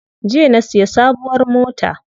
Jiya na siya sabuwar mota.